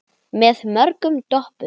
Með mörgum doppum.